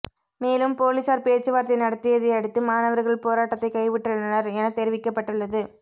மேலும் போலீசார் பேச்சுவார்த்தை நடத்தியதையடுத்து மாணவர்கள் போராட்டத்தை கைவிட்டுள்ளனர் என தெரிவிக்கப்பட்டுள்ளது